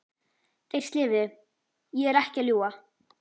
Þeir slefuðu, ég er ekki að ljúga!